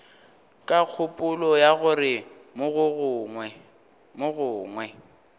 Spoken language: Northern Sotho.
ka kgopolo ya gore mogongwe